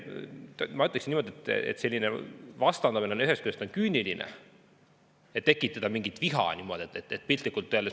Ma ütleksin, et selline vastandamine on küüniline: tekitada niimoodi viha.